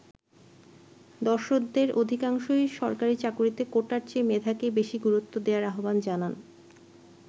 দর্শকদের অধিকাংশই সরকারি চাকুরীতে কোটার চেয়ে মেধাকেই বেশি গুরুত্ব দেয়ার আহবান জানান।